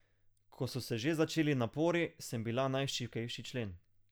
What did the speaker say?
Ko so se že začeli napori, sem bila najšibkejši člen.